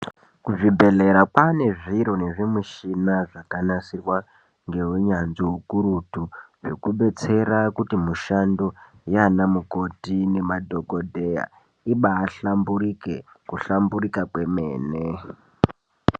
Kuzvibhedhlera kwanezviro nezvimushina zvakanasirwa ngewunyanzvi wukurutu, zvekudetsera kuti mushando yanamukoti nemadhokodheya ibahlamburike, kuhlamburika kwemene.